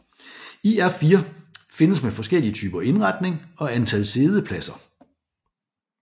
IR4 findes med forskellige typer indretning og antal siddepladser